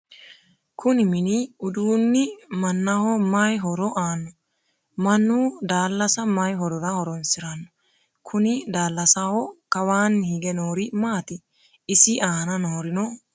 kuni mini uduunni mannaho mayi horo aanno? mannu daallasa mayi horora horonsiranno? kuni daallasaho kawaanni hige noori maati? isi aana noorino maati?